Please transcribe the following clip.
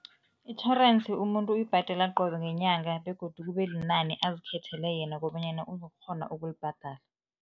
Itjhorensi, umuntu uyibhadela qobe ngenyanga begodu kube linani azikhethele yena kobonyana uzokukghona ukulibhadala.